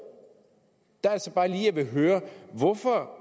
der altså bare lige jeg vil høre hvorfor